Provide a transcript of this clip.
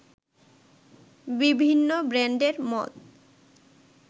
বিভিন্ন ব্র্যান্ডের মদ